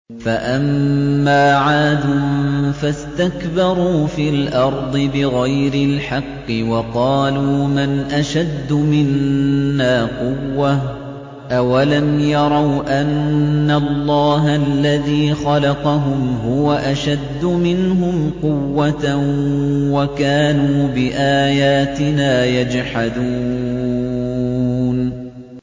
فَأَمَّا عَادٌ فَاسْتَكْبَرُوا فِي الْأَرْضِ بِغَيْرِ الْحَقِّ وَقَالُوا مَنْ أَشَدُّ مِنَّا قُوَّةً ۖ أَوَلَمْ يَرَوْا أَنَّ اللَّهَ الَّذِي خَلَقَهُمْ هُوَ أَشَدُّ مِنْهُمْ قُوَّةً ۖ وَكَانُوا بِآيَاتِنَا يَجْحَدُونَ